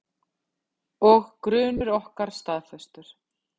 Og grunur okkar staðfestur.